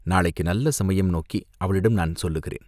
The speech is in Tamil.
நாளைக்கு நல்ல சமயம் நோக்கி அவளிடம் நான் சொல்லுகிறேன்.